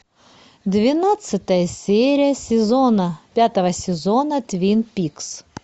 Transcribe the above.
двенадцатая серия сезона пятого сезона твин пикс